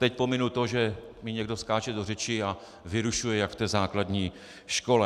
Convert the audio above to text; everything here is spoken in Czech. Teď pominu to, že mi někdo skáče do řeči a vyrušuje jak v té základní škole.